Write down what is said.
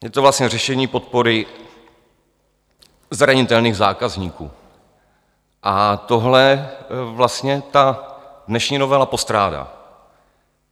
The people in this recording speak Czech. Je to vlastně řešení podpory zranitelných zákazníků a tohle vlastně ta dnešní novela postrádá.